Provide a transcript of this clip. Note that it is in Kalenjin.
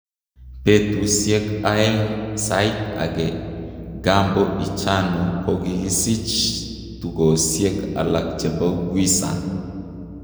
Putishek aeg sait age, gambo ichano kokisich tukosiek alak chepo Quissang